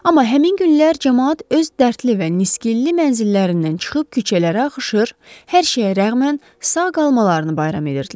Amma həmin günlər camaat öz dərdli və nisgilli mənzillərindən çıxıb küçələrə axışır, hər şeyə rəğmən sağ qalmalarını bayram edirdilər.